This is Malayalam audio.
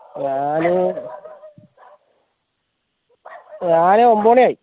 ഞാന് ഞാന് ഒമ്പത് മണിയായി